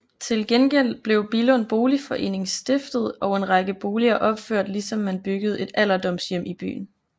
Til gengæld blev Billund Boligforening stiftet og en række boliger opført ligesom man byggede et alderdomshjem i byen